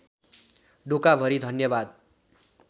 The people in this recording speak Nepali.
डोकाभरि धन्यवाद